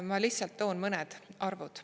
Ma lihtsalt toon mõned arvud.